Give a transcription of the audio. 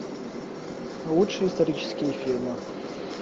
лучшие исторические фильмы